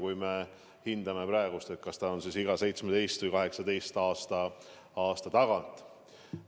Kui me hindame, siis need on vist olnud iga 17 või 18 aastatagant.